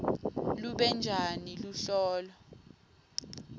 lube njani luhlolo